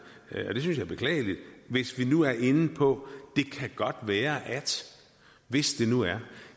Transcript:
jeg det er beklageligt hvis vi nu er inde på det kan godt være at hvis det nu er